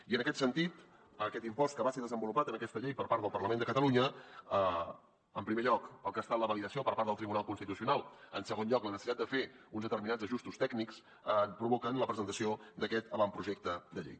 i en aquest sentit aquest impost que va ser desenvolupat en aquesta llei per part del parlament de catalunya en primer lloc el que ha estat la validació per part del tribunal constitucional en segon lloc la necessitat de fer uns determinats ajustos tècnics provoquen la presentació d’aquest avantprojecte de llei